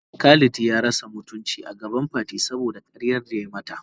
Khalid ya rasa mutuncin agaban Fati saboda karyar da yayi mata.